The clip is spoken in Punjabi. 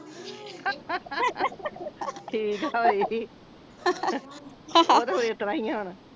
ਠੀਕ ਆ ਬਾਈ ਓਹ ਤੇ ਫੇਰ ਇਸ ਤਰ੍ਹਾਂ ਹੀ ਆ ਹੁਣ